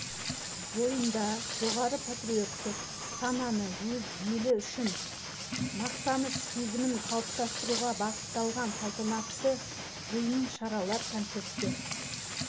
бойында жоғары патриоттық сананы өз елі үшін мақтаныш сезімін қалыптастыруға бағытталған салтанатты жиындар шаралар концерттер